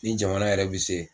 Ni jamana yɛrɛ bi se.